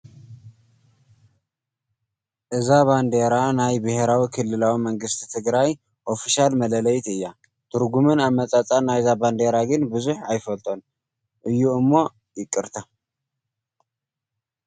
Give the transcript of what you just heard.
እዛ ባንዴራ ናይ ብሄራዊ ክልላዊ መንግስቲ ትግራይ ኦፊሻል መለለዪት እያ፡፡ ትርጉምን ኣመፃፅኣን ናይዛ ባንዴራ ግን ብዙሕ ኣይፈልጦን እዩ እሞ ይቅርታ፡፡